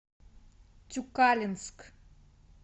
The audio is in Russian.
тюкалинск